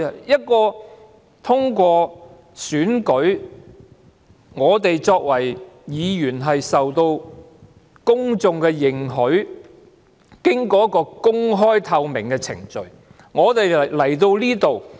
我們通過選舉出任議員，受到公眾的認許，經過公開、透明的程序加入立法會。